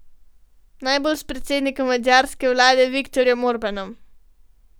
Najbolj s predsednikom madžarske vlade Viktorjem Orbanom.